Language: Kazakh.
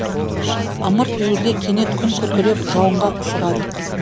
ымырт үйіріле кенет күн күркіреп жауынға ұшырадық